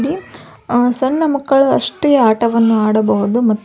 ಆಲಿ ಸಣ್ಣ ಮಕ್ಕಳು ಅಷ್ಟೆ ಆಟವನ್ನು ಆಡಬಹುದು ಮ --